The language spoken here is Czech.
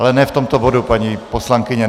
Ale ne v tomto bodu, paní poslankyně.